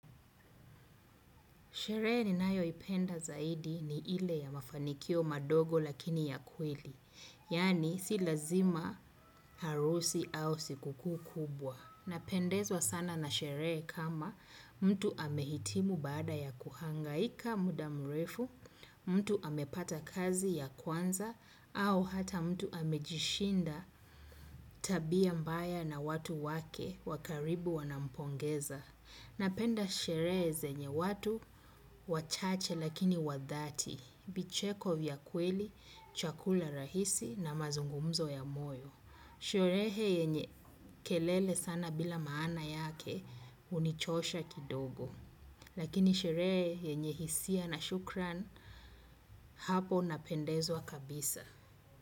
Sherehe ni nayo ipenda zaidi ni ile ya mafanikio madogo lakini ya kweli. Yaani si lazima harusi au siku kubwa. Napendezwa sana na sherehe kama mtu ame hitimu baada ya kuhangai. Ika mudamrefu, mtu amepata kazi ya kwanza au hata mtu amejishinda tabia mbaya na watu wake wakaribu wanampongeza. Napenda sherehe zenye watu, wachache lakini wadhati, vicheko vya kweli, chakula rahisi na mazungumzo ya moyo. Sherehe yenye kelele sana bila maana yake hunichosha kidogo. Lakini sherehe yenye hisia na shukran hapo napendezwa kabisa.